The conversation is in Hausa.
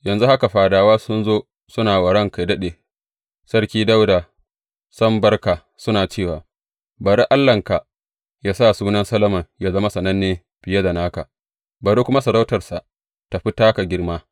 Yanzu haka, fadawa sun zo suna wa ranka yă daɗe, Sarki Dawuda, sam barka, suna cewa, Bari Allahnka yă sa sunan Solomon yă zama sananne fiye da naka, bari kuma sarautarsa tă fi taka girma!’